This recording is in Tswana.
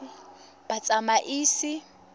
batsamaisi